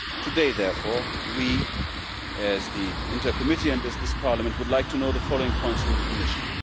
Today, therefore, we, as the INTA Committee and as this Parliament, would like to know the following points from the Commission